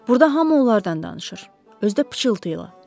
Burda hamı onlardan danışır, özü də pıçıltıyla.